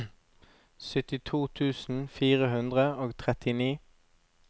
syttito tusen fire hundre og trettini